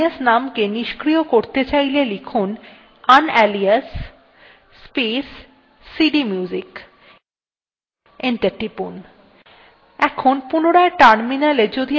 এই alias নাম কে নিস্ক্রিয় করতে চাইলে টাইপ করুন unalias space cdmusic এবং enter টিপুন